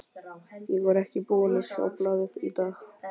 Ég var ekki búinn að sjá blaðið í dag.